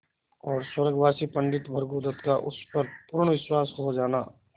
और स्वर्गवासी पंडित भृगुदत्त का उस पर पूर्ण विश्वास हो जाना